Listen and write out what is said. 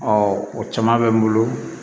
o caman bɛ n bolo